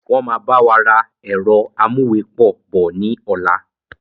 Wọn máa báwa ra ẹ̀rọ amúwepọ̀ bọ̀ ni ọ̀la